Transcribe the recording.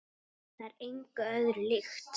Það er engu öðru líkt.